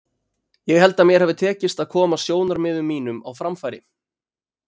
Ég held að mér hafi tekist að koma sjónarmiðum mínum á framfæri.